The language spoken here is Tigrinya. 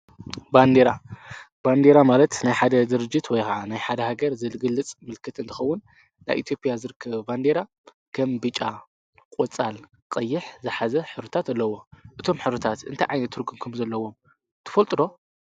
ባንዴራ ባንዴራ ማለት ናይ ሓደ ዝርጅት ወይኸዓ ናይ ሓደ ሃገር ዘልግልጽ ምልክት እንተኸውን ናይ ኤቴጵያ ዝርከ ባንዴራ ገም ቢጫ ቖፃል ቀይሕ ዝኃዚ ኅሩታት ኣለዎ እቶም ኅሩታት እንተይ ዓይኔቱርግንኩም ዘለዎም ትፈልጥሮ